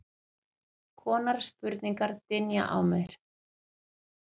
konar spurningar dynja á mér.